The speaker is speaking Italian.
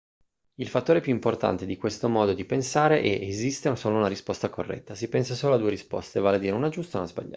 il fattore più importante di questo modo di pensare è esiste solo una risposta corretta si pensa solo a due risposte vale a dire una giusta e una sbagliata